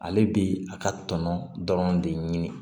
Ale bi a ka tɔnɔ dɔrɔn de ɲini